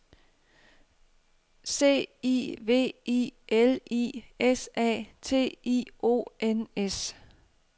C I V I L I S A T I O N S